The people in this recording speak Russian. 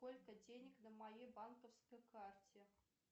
сколько денег на моей банковской карте